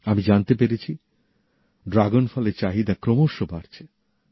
আমি জানতে পেরেছি ড্রাগনফলের চাহিদা ক্রমশ বাড়ছে